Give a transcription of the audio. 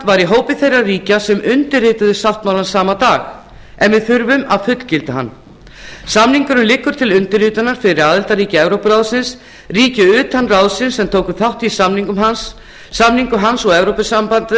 í hópi þeirra ríkja sem undirrituðu sáttmálann sama dag en við þurfum að fullgilda hann samningurinn liggur til undirritunar fyrir aðildarríki evrópuráðsins ríki utan ráðsins sem tóku þátt í samningu hans og